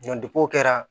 o kɛra